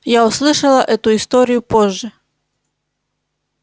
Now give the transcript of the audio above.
я услышала эту историю позже